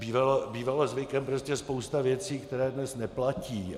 Bývala zvykem prostě spousta věcí, které dnes neplatí.